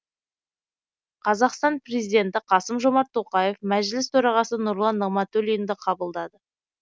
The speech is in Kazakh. қазақстан президенті қасым жомарт тоқаев мәжіліс төрағасы нұрлан нығматулинді қабылдады